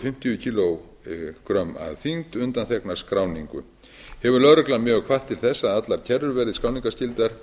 fimmtíu kílógrömm að þyngd undanþegnar skráningu hefur lögreglan mjög hvatt til þess að allar kerrur verði skráningarskyldar